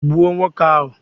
Gbuo nwoke ahu!